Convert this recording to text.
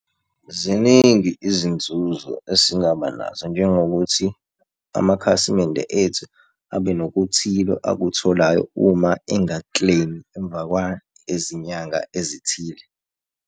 Ziningi izinzuzo esingaba nazo, njengokuthi amakhasimende ethu abe nokuthile akutholayo uma enga-claim-i emva kwezinyanga ezithile.